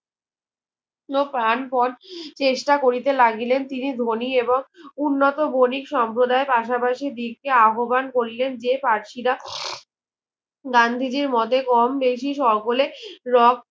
প্রাণ প্রন চেষ্টা করিতে লাগিলেন তিনি ধোনি এবং উন্নত বণিক সর্ম্পদায় পাশাপাশি দিককে আহব্বান করিলেন যে পার্সিরা গান্ধীজির মতে কম বেশি সকলে রক